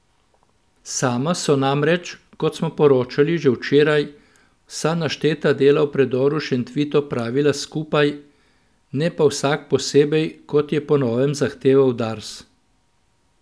Sama so namreč, kot smo poročali že včeraj, vsa našteta dela v predoru Šentvid opravila skupaj, ne pa vsak posebej, kot je po novem zahteval Dars.